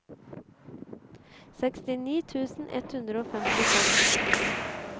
sekstini tusen ett hundre og femtifem